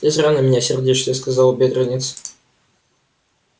ты зря на меня сердишься сказал бедренец